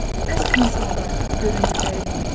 Bəs insanlar göründükləri kimidir?